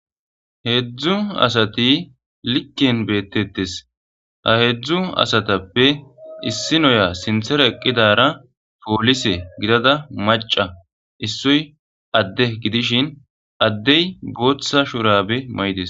heedzdzu asati likken beettettes ha heedzdzu asatappe issi noya sinthera eqqidara poolise gidada maca issoy adde gidishin addey booththa shurabe may7des